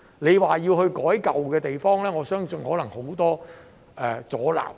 如果要在舊區作出改變，我相信可能會有很多阻撓。